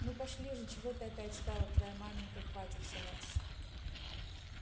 ну пошли же чего ты опять стала твоя маменька хватится нас